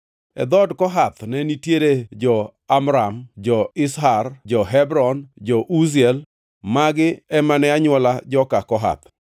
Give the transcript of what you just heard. E dhood Kohath ne nitiere jo-Amram, jo-Izhar, jo-Hebron, jo-Uziel; magi ema ne anywola joka Kohath.